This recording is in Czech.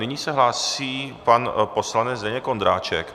Nyní se hlásí pan poslanec Zdeněk Ondráček.